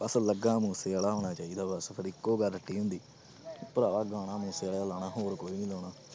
ਬਸ ਲੱਗਾ ਮੂਸੇਵਾਲਾ ਹੋਣਾ ਚਾਹੀਦਾ ਬਸ ਫਿਰ ਇੱਕੋ ਗੱਲ ਹੁੰਦੀ ਭਰਾ ਗਾਣਾ ਮੂਸੇਵਾਲੇ ਦਾ ਲਾਉਣਾ ਹੋਰ ਕੋਈ ਨੀ ਲਾਉਣਾ।